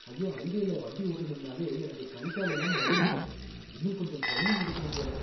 ஐயோ! ஹைவேல வண்டி ஓட்டனும்னாலே எனக்கு கை காலெல்லாம் நடுங்குது, இன்னும் கொஞ்சம் ட்ரைனிங் எடுக்கணும் போல